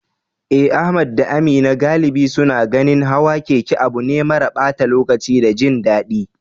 Eh, Ahmad da Amina galibi suna ganin hawan keke abu ne mara ɓata lokaci da jin daɗi.